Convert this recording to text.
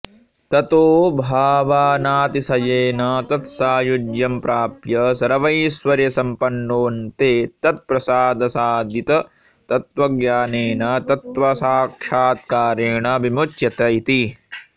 ततो भावनातिशयेन तत्सायुज्यं प्राप्य सर्वैश्वर्यसम्पन्नोऽन्ते तत्प्रसादसादिततत्त्वज्ञानेन तत्त्वसाक्षात्कारेण विमुच्यत इति